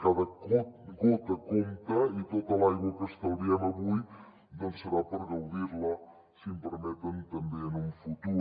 cada gota compta i tota l’aigua que estalviem avui doncs serà per gaudir la si em permeten també en un futur